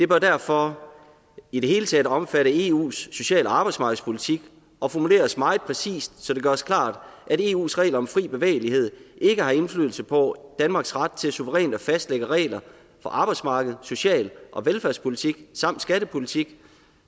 bør derfor i det hele taget omfatte eus sociale arbejdsmarkedspolitik og formuleres meget præcist så det gøres klart at eus regler om fri bevægelighed ikke har indflydelse på danmarks ret til suverænt at fastlægge regler for arbejdsmarkedet social og velfærdspolitikken samt skattepolitikken